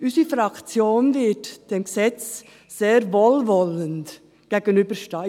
Unsere Fraktion wird diesem Gesetz sehr wohlwollend gegenüberstehen.